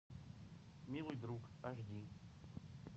милый друг аш ди